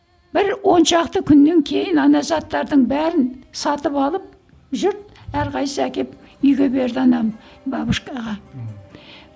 бір оншақты күннен кейін ана заттардың бәрін сатып алып жұрт әрқайсысы әкеп үйге берді ананы бабушкаға